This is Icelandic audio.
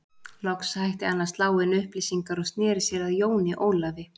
Loks hætti hann að slá inn upplýsingar og sneri sér að Jóni Ólafi.